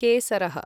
केसरः